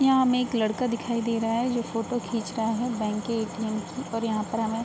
यहाँ हमें एक लड़का दिखाई दे रहा है जो फोटो खींच रहा है बैंक के ए.टी.एम. की और यहाँ पर हमें --